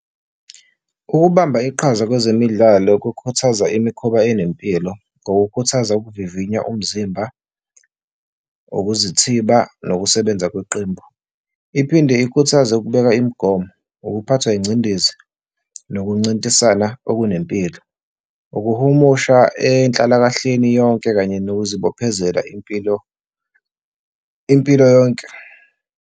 Ukubamba iqhaza kwezemidlalo kukhuthaza imikhuba enempilo ngokukhuthaza ukuvivinya umzimba, ukuzithiba nokusebenza kweqembu. Iphinde ikhuthaze ukubeka imigomo, ukuphathwa ingcindezi, nokuncintisana okunempilo, ukuhumusha enhlalakahleni yonke kanye nokuzibophezela impilo, impilo yonke.